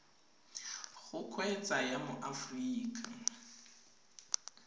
go kgweetsa ya mo aforika